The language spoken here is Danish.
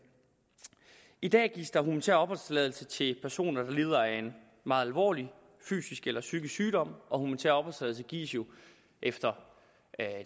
i dag gives der humanitær opholdstilladelse til personer der lider af en meget alvorlig fysisk eller psykisk sygdom og humanitær opholdstilladelse gives jo efter